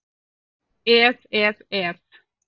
Ef, ef, ef!